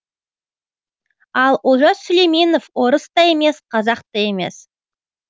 ал олжас сүлейменов орыс та емес қазақ та емес